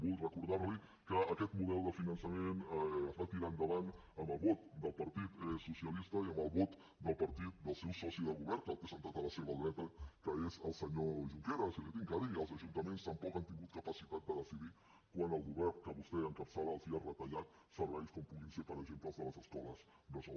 vull recordar li que aquest model de finançament es va tirar endavant amb el vot del partit socialista i amb el vot del partit del seu soci de govern que el té assegut a la seva dreta que és el senyor junqueras i l’hi he de dir els ajuntaments tampoc han tingut capacitat de decidir quan el govern que vostè encapçala els ha retallat serveis com poden ser per exemple els de les escoles bressol